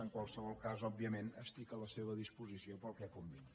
en qualsevol cas òbviament estic a la seva disposició per al que convingui